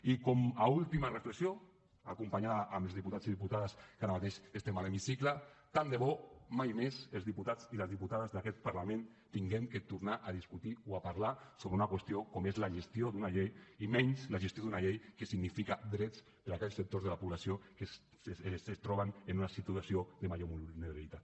i com a última reflexió acompanyada amb els diputats i diputades que ara mateix estem a l’hemicicle tant de bo mai més els diputats i les diputades d’aquest parlament hàgim de tornar a discutir o a parlar sobre una qüestió com és la gestió d’una llei i menys la gestió d’una llei que significa drets per aquells sectors de la població que es troben en una situació de major vulnerabilitat